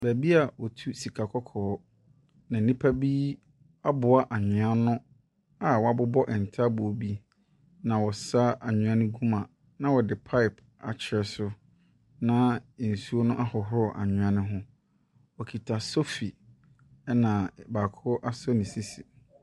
Beebi a wotu sika kɔkɔɔ na nnipa bi aboa anwea ano a wɔabobɔ ntaaboo bi, na wɔsa anwea no gu mu na wɔde pipe akyerɛ so na nsuo no ahohoro anwea ne ho. Wɔkita sofi na baako asɔ ne sisi.